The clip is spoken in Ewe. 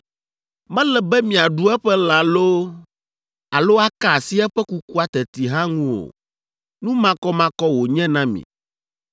Mele be miaɖu eƒe lã loo alo aka asi eƒe kukua teti hã ŋu o. Nu makɔmakɔ wònye na mi.